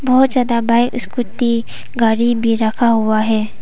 बहुत ज्यादा bike scooty गाड़ी भी रखा हुआ है।